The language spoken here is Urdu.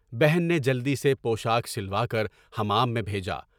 بہن نے جلدی سے پوشاک سلوا کر حمام میں بھیجا۔